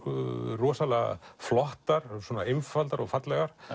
rosalega flottar einfaldar og fallegar